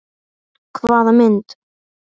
Hvaða mynd?